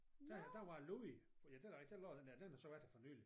Dér der var Louis ja et da rigtig der lå den der den har så været der fornyligt